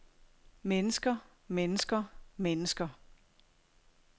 mennesker mennesker mennesker